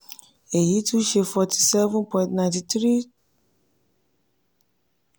eyi tun ṣe forty seven point nine three